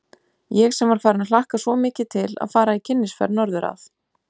Ég sem var farin að hlakka svo mikið til að fara í kynnisferð norður að